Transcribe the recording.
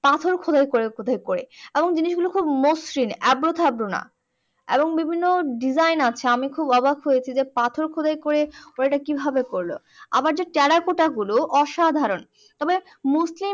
পাথর খোদাই করে খোদাই করে জিনিস গুলো খুব মসৃণ এবড়ো থেবড়ো না এবং বিভিন্ন design আছে আমি খুব অবাক হয়েছি যে পাথর খোদাই করে ওরা এটা কিভাবে করলো আবার যে টেরাকোটা গুলো অসাধারণ তবে mostly